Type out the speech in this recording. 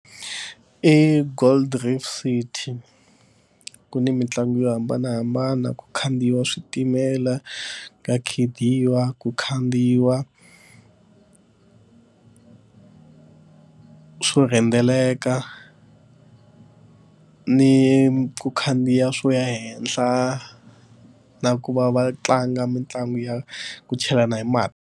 I Gold reef city ku ni mitlangu yo hambanahambana ku khandziya switimela ka khida yiwa ku khandziyiwaka swo rhendzeleka ni ku khandziya swo ya henhla na ku va va tlanga mitlangu ya ku chelana hi mati.